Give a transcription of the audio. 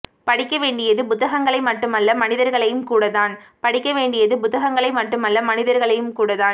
படிக்கவேண்டியது புத்தகங்களை மட்டுமல்ல மனிதர்களையும் கூடத்தான்படிக்கவேண்டியது புத்தகங்களை மட்டுமல்ல மனிதர்களையும் கூடத்தான்